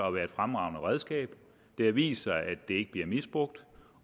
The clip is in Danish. at være et fremragende redskab det har vist sig at det ikke bliver misbrugt